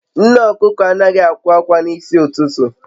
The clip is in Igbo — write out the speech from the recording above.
Nne okuko anaghị akwa akwa n'isi ụtụtụ